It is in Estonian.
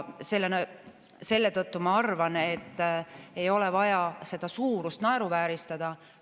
Selle tõttu ma arvan, et ei ole vaja seda suurust naeruvääristada.